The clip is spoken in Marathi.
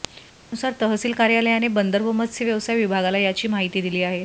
त्यानुसार तहसील कार्यालयाने बंदर व मत्स्य व्यवसाय विभागाला याची माहिती दिली आहे